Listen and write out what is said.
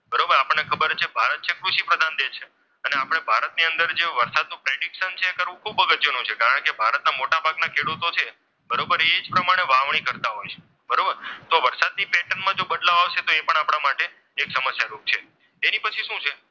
અને આપણે ભારતની અંદર જે વરસાદનું પ્રેડિશન છે એ ખૂબ અગત્યનું છે. કારણ કે ભારતના મોટાભાગના ખેડૂતો છે બરોબર એ એ જ પ્રમાણે વાવણી કરતા હોય છે. બરોબર તો વરસાદની પેટન માં જો બદલાવ આવશે તો એ પણ આપણા માટે એક સમસ્યા રૂપ છે. એની પછી શું છે?